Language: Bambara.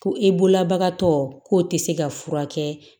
Ko e bololabagatɔ k'o tɛ se ka furakɛ